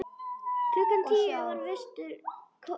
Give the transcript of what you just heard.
Klukkan tíu var vistum lokað.